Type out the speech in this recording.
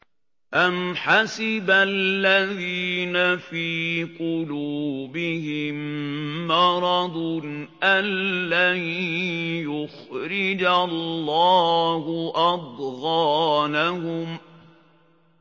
أَمْ حَسِبَ الَّذِينَ فِي قُلُوبِهِم مَّرَضٌ أَن لَّن يُخْرِجَ اللَّهُ أَضْغَانَهُمْ